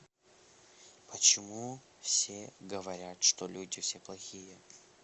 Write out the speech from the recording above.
почему все говорят что люди все плохие